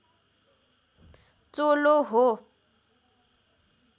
चोलो हो